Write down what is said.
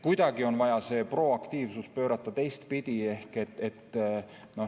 Kuidagi on vaja see proaktiivsus pöörata teistpidi.